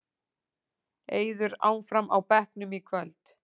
Eiður áfram á bekknum í kvöld